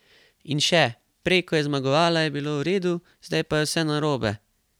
In še: "Prej ko je zmagovala, je bilo v redu, zdaj pa je vse narobe.